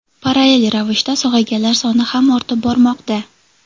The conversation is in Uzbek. Parallel ravishda sog‘ayganlar soni ham ortib bormoqda.